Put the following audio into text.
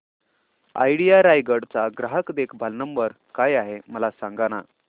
idea Raigad चा ग्राहक देखभाल नंबर काय आहे मला सांगाना